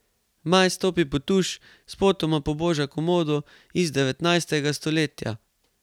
Maj stopi pod tuš, spotoma poboža komodo iz devetnajstega stoletja.